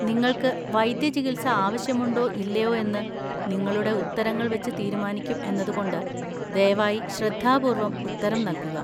നിങ്ങൾക്ക് വൈദ്യചികിത്സ ആവശ്യമുണ്ടോ ഇല്ലയോ എന്ന് നിങ്ങളുടെ ഉത്തരങ്ങൾ വച്ച് തീരുമാനിക്കും എന്നതുകൊണ്ട് ദയവായി ശ്രദ്ധാപൂർവ്വം ഉത്തരം നൽകുക.